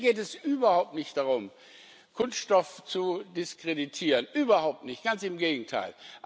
Mir geht es überhaupt nicht darum, Kunststoff zu diskreditieren, überhaupt nicht, ganz im Gegenteil!